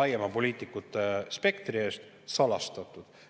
laiema poliitikute spektri eest salastatud.